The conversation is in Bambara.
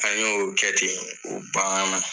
An y'o kɛ ten banna